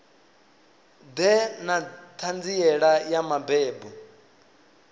ḓe na ṱhanziela ya mabebo